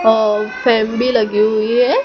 और फेम लगी हुई है।